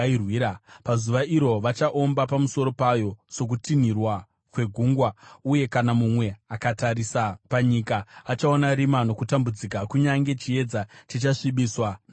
Pazuva iro vachaomba pamusoro payo, sokutinhira kwegungwa. Uye kana mumwe akatarisa panyika, achaona rima nokutambudzika; kunyange chiedza chichasvibiswa namakore.